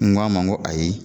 N ko a man n ko ayi